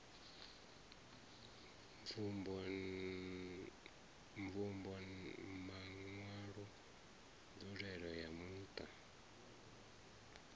mvumbo maṋwalwa nzulele ya muṱa